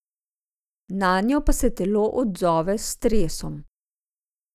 Nanje pa se telo odzove s stresom.